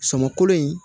Sɔmɔkolo in